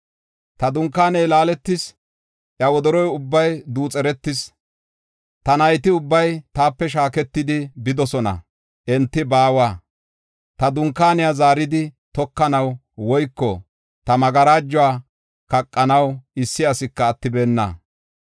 Ta dunkaaney laaletis; iya wodoro ubbay duuxeretis. Ta nayti ubbay taape shaaketidi bidosona; enti baawa. Ta dunkaaniya zaaridi tokanaw woyko ta magarajuwa kaqanaw issi asika attibeenna.